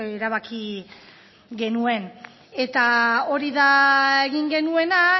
erabaki genuen eta hori da egin genuena